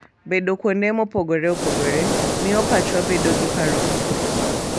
Bedo kuonde mopogore opogore miyo pachwa bedo gi paro mokuwe.